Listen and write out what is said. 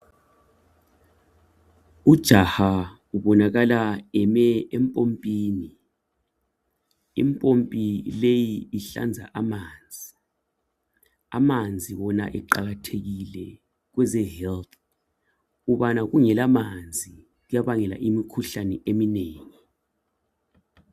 Ujaha ubonakala eme empompini, impompi leyi ihlanza amanzi amanzi wona eqakathekike kwezempilakahle ukubana kungela manzi kuyabangela imikhuhlane eminengi.